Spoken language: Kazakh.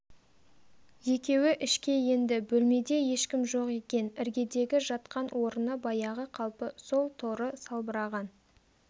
екеуі ішке енді бөлмеде ешкім жоқ екен іргедегі жатқан орыны баяғы қалпы сол торы салбыраған